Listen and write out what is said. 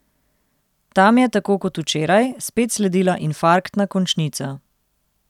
Tam je, tako kot včeraj, spet sledila infarktna končnica.